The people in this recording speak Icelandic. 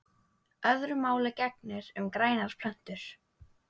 Öðru máli gegnir um grænar plöntur.